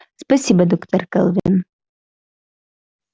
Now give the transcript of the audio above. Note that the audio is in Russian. спасибо доктор кэлвин